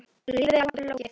Lífið er langt og flókið.